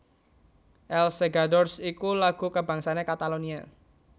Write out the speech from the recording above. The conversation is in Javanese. Els Segadors iku lagu kabangsané Katalonia